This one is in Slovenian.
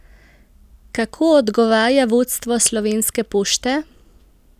Kako odgovarja vodstvo slovenske pošte?